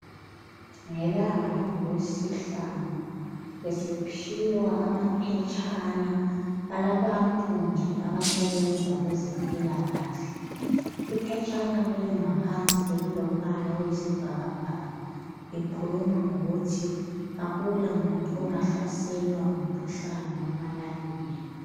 Ngelanga langoLwesihlanu besiphiwa amaphetshana alabantu abasebenza kwezempilakahle. Iphetshana leli ngaphansi belilombala oyisibhakabhaka likhuluma ngokuthi akulamuntu ongahlaselwa ngumkhuhlane weMalaria.